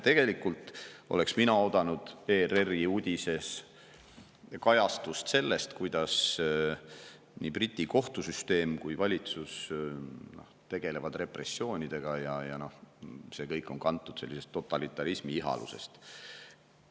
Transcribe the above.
Tegelikult oleks mina oodanud ERR-i uudises kajastust sellest, kuidas nii Briti kohtusüsteem kui ka valitsus tegelevad repressioonidega ja see kõik on kantud sellisest totalitarismi ihalusest.